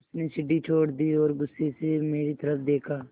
उसने सीढ़ी छोड़ दी और गुस्से से मेरी तरफ़ देखा